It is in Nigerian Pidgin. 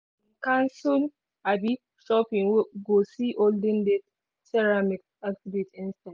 dem cancel um shopping go see olden days ceramics exhibit instead.